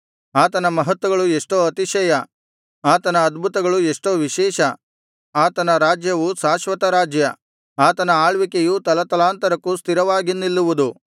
ಆತನ ಮಹತ್ತುಗಳು ಎಷ್ಟೋ ಅತಿಶಯ ಆತನ ಅದ್ಭುತಗಳು ಎಷ್ಟೋ ವಿಶೇಷ ಆತನ ರಾಜ್ಯವು ಶಾಶ್ವತರಾಜ್ಯ ಆತನ ಆಳ್ವಿಕೆಯು ತಲತಲಾಂತರಕ್ಕೂ ಸ್ಥಿರವಾಗಿ ನಿಲ್ಲುವುದು